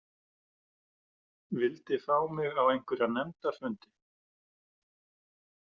Vildi fá mig á einhverja nefndarfundi.